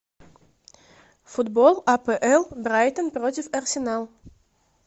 футбол апл брайтон против арсенал